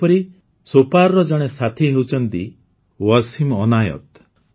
ସେହିପରି ସୋପାରର ଜଣେ ସାଥୀ ହେଉଛନ୍ତି ୱସିମ ଅନାୟତ